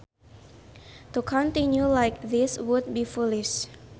To continue like this would be foolish